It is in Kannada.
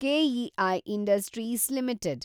KEI industries limited